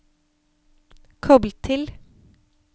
koble til